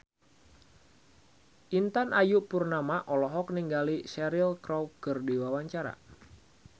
Intan Ayu Purnama olohok ningali Cheryl Crow keur diwawancara